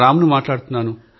రామ్ ను మాట్లాడుతున్నారు